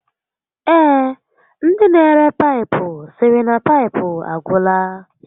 Ee, ndi n'ere paịpụ sịrị na paịpụ agwụla